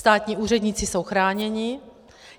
Státní úředníci jsou chráněni.